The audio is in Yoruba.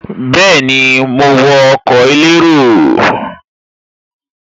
Bẹ́ẹ̀ni, mo wọ ọkọ̀ elérò